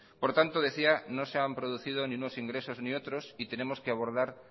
por tanto decía no se han producido ni unos ingresos ni otros y tenemos que abordar